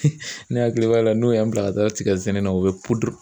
Ne hakili b'a la n'o y'an bila ka taa tigɛsɛnɛ na u bɛ